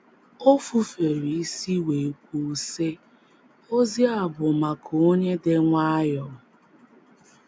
O fufere isi wee kwuo, sị: “ Ozi a bụ maka onye dị nwayọọ.